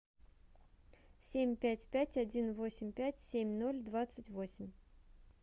семь пять пять один восемь пять семь ноль двадцать восемь